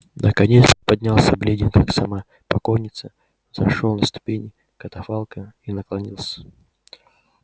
наконец приподнялся бледен как сама покойница взошёл на ступени катафалка и наклонился